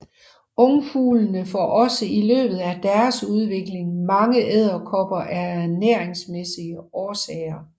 Ungfuglene får også i løbet af deres udvikling mange edderkopper af ernæringsmæssige årsager